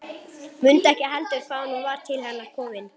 Mundi ekki heldur hvaðan hún var til hennar komin.